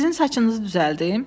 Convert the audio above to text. Sizin saçınızı düzəldim?